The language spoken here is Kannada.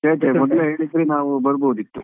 ಮೊದ್ಲೇ ಹೇಳಿದ್ರೆ ನಾವು ಬರಬಹುದಿತ್ತು.